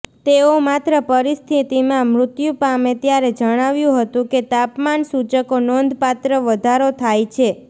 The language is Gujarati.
તેઓ માત્ર પરિસ્થિતિમાં મૃત્યુ પામે ત્યારે જણાવ્યું હતું કે તાપમાન સૂચકો નોંધપાત્ર વધારો થાય છે